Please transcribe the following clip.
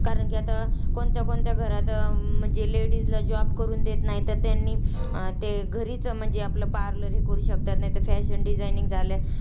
कारण की आता, कोणत्या कोणत्या घरात, म्हणजे ladies ला job करून देत नाहीत, तर त्यांनी घरीच म्हणजे आपलं parlor हे करू शकतात, नाहीतर fashion designing झालं,